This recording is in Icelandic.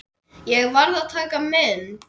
Ég varð að taka mynd.